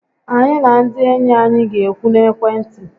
Anyị na ndị enyi anyị ga-ekwu n'ekwentị